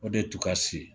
O de tun ka se